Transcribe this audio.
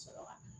Sɔrɔ